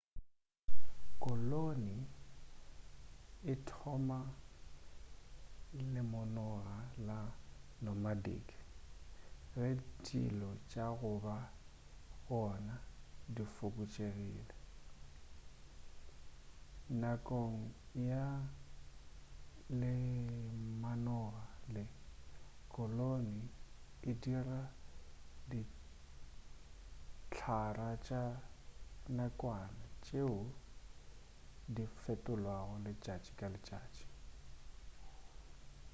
koloni e thoma lemanoga la nomadic ge dijo tša goba gona di fokotšegile nakong ya lemanoga le koloni e dira dihlara tša nakwana tšeo di fetolwago letšatši ka letšatši